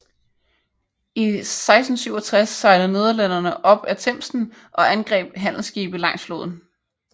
I 1667 sejlede nederlænderne op ad Themsen og angreb handelsskibe langs floden